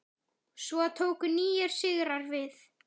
Svo tóku nýir sigrar við.